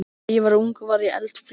Þegar ég var ung var ég eldfljót.